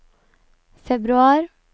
februar